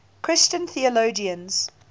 christian theologians